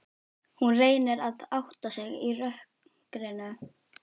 Hún reynir að átta sig í rökkrinu.